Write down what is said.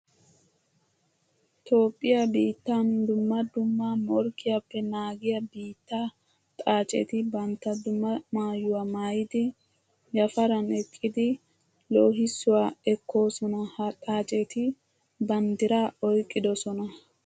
Toophphiya biitta dumma dumma morkkiyappe naagiya biitta xaacetti bantta dumma maayuwa maayiddi yafaran eqqiddi loohissuwa ekkosona. Ha xaacetti banddira oyqqidosona.